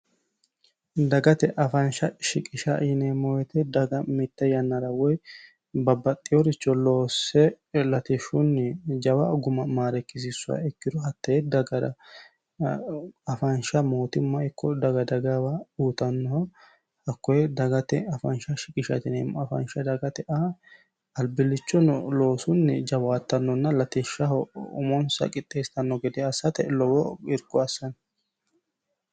dagate afaansha shiqisha yineemmo woyite daga mitte yannara woy babbaxxiworicho loosse latishshunni jawa guma maarekkisiissoha ikkiru hattee dagar afaansha mootimma ikko daga dagaawa uutannoho hakkoyi dagate afaansha shiqish nemmoafaansha dagate aa albillichono loosunni jawaattannonna latishshaho umonsa qixxeesitanno gede assate lowo irikko assano